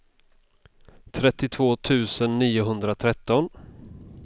trettiotvå tusen niohundratretton